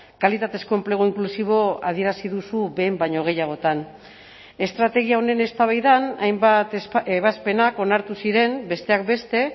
kalitatezko enplegu inklusibo adierazi duzu behin baino gehiagotan estrategia honen eztabaidan hainbat ebazpenak onartu ziren besteak beste